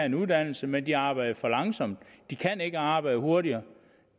en uddannelse men de arbejder for langsomt de kan ikke arbejde hurtigere